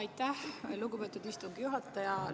Aitäh, lugupeetud istungi juhataja!